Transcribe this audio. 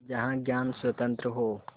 जहाँ ज्ञान स्वतन्त्र हो